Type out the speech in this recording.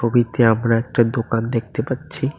ছবিতে আমরা একটা দোকান দেখতে পাচ্ছি।